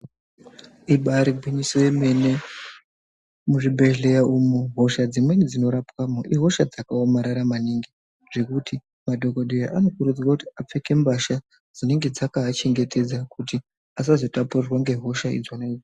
Ibaari gwinyiso remene. Muzvibhedhleya umu hosha dzimweni dzinorapwemo ihosha dzakaomarara maningi zvekuti madhokodheya anokurudzirwa kuti apfeke mbasha dzinenge dzakaachengetedza kuti asazotapurirwa ngehosha idzona idzo.